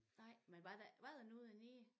Nej men var der var der nogen dernede?